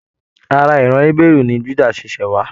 Ará iran Ébérú ní ẹsìn Juda ti ṣẹ wá